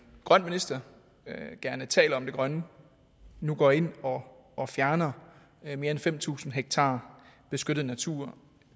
grøn minister og gerne taler om det grønne nu går ind og fjerner mere end fem tusind hektar beskyttet natur